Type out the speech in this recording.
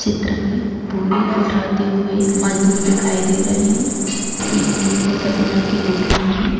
चित्र में बोरी उठाते हुए एक मजदूर दिखाई दे रहे है पीली और सफेद रंग की बोरियां है।